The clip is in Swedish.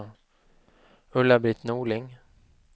Ulla-Britt Norling